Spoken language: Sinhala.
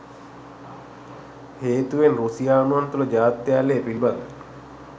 හේතුවෙන් රුසියානුවන් තුල ජාත්‍යාලය පිලිබඳ